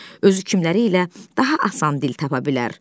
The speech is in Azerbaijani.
Özü kimlərilə daha asan dil tapa bilər.